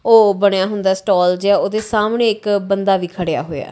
ਉਹ ਬਣਿਆ ਹੁੰਦਾ ਸਟਾਲ ਜਿਹਾ ਉਹਦੇ ਸਾਹਮਣੇ ਇੱਕ ਬੰਦਾ ਵੀ ਖੜਿਆ ਹੋਇਆ।